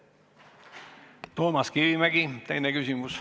Toomas Kivimägi, teine küsimus.